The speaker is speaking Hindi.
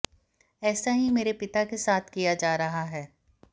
ऐसा ही मेरे पिता के साथ किया जा रहा है